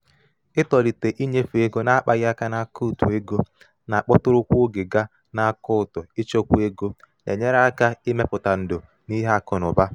ịtọlite ịnyefe ego na-akpaghị aka n’akaụntụ ego na-akpọtụrụ kwa um oge gaa na akaụntụ ịchekwa ego na-enyere aka ịmepụta ndò n’ihe akụ na ụba.